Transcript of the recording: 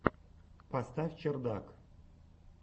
поставь чердак